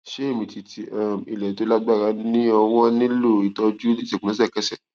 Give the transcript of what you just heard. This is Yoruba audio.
ṣé ìmìtìtì um ilẹ tó lágbára ní ọwọ nílò ìtọjú ìṣègùn lẹsẹkẹsẹ